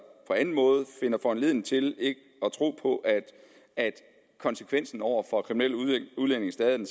på anden måde finder foranledning til ikke at tro på at konsekvensen over for kriminelle udlændinge stadig